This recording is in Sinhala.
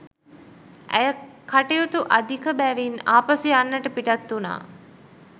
ඇය කටයුතු අධික බැවින් ආපසු යන්නට පිටත් වුනා.